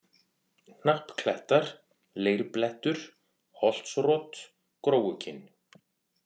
Hnappklettar, Leirblettur, Holtsrot, Gróukinn